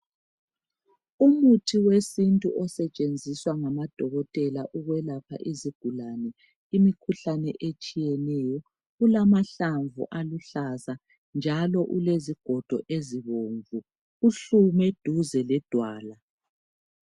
Umuthi wesintu osetshenziswa ngamadokotela ukwelapha izigulane imikhuhlane etshiyeneyo ulamahlamvu aluhlaza njalo ulezigodo ezibomvu, uhlume duze le dwala.